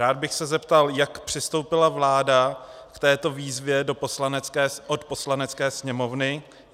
Rád bych se zeptal, jak přistoupila vláda k této výzvě od Poslanecké sněmovny?